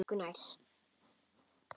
Berti var engu nær.